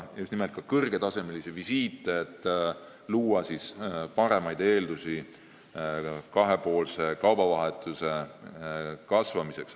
Just nimelt kõrgetasemelisi visiite tuleb kasutada selleks, et luua paremaid eeldusi kahepoolse kaubavahetuse kasvamiseks.